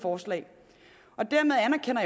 forstår